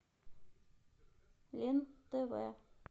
лен тв